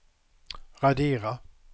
radera